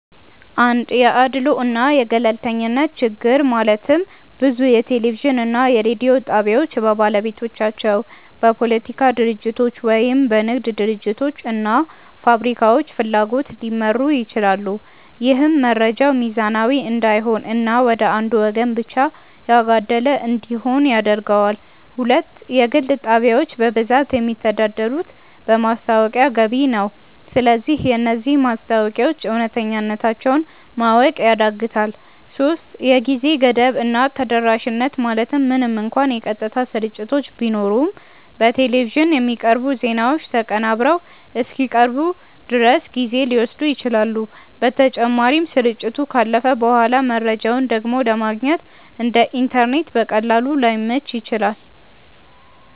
1 የአድልዎ እና የገለልተኝነት ችግር ማለትም ብዙ የቴሌቪዥን እና የሬዲዮ ጣቢያዎች በባለቤቶቻቸው፣ በፖለቲካ ድርጅቶች ወይም በንግድ ድርጅቶች እና ፋብሪካዎች ፍላጎት ሊመሩ ይችላሉ። ይህም መረጃው ሚዛናዊ እንዳይሆን እና ወደ አንዱ ወገን ብቻ ያጋደለ እንዲሆን ያደርገዋል። 2 የግል ጣቢያዎች በብዛት የሚተዳደሩት በማስታወቂያ ገቢ ነው። ስለዚህ የነዚህ ማስታወቂያዎች እውነተኛነታቸውን ማወቅ ያዳግታል 3የጊዜ ገደብ እና ተደራሽነት ማለትም ምንም እንኳን የቀጥታ ስርጭቶች ቢኖሩም፣ በቴሌቪዥን የሚቀርቡ ዜናዎች ተቀናብረው እስኪቀርቡ ድረስ ጊዜ ሊወስዱ ይችላሉ። በተጨማሪም፣ ስርጭቱ ካለፈ በኋላ መረጃውን ደግሞ ለማግኘት (እንደ ኢንተርኔት በቀላሉ) ላይመች ይችላል።